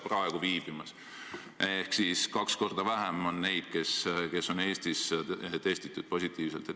Ehk siis seal on tuvastatud kaks korda vähem haigeid kui praegu Eestis.